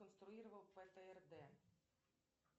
сконструировал птрд